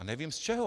A nevím z čeho.